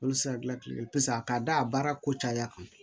Olu se ka gilan kile paseke a ka da a baara ko caya kan